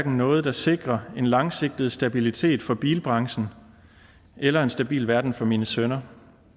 noget der sikrer en langsigtet stabilitet for bilbranchen eller en stabil verden for mine sønner